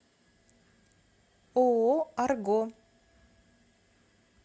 ооо арго